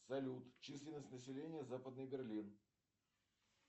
салют численность населения западный берлин